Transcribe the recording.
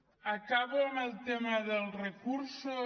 acabo amb el tema dels recursos